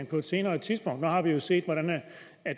på et senere tidspunkt nu har vi jo set hvordan